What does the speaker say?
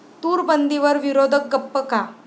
तूरबंदीवर विरोधक गप्प का?